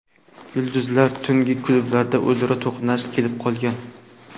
Yulduzlar tungi klubda o‘zaro to‘qnash kelib qolgan.